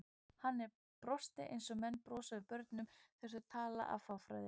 Hann brosti eins og menn brosa við börnum þegar þau tala af fáfræði.